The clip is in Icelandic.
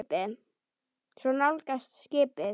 Og svo nálgast skipið.